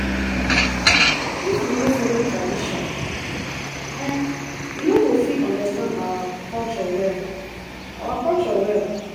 If you no follow tradition, you no go fit understand our culture well. our culture well.